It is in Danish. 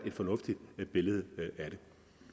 et fornuftigt billede af det